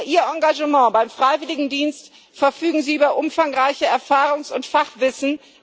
Über ihr Engagement beim Freiwilligendienst verfügen sie über umfangreiche Erfahrung und Fachwissen.